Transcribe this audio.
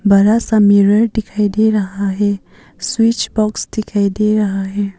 बड़ा सा मिरर दिखाई दे रहा है स्विच बॉक्स दिखाई दे रहा है।